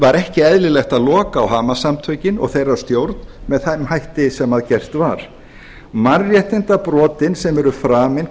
var ekki eðlilegt að loka á hamas samtökin og þeirra stjórn með þeim hætti sem gert var mannréttindabrotin sem eru framin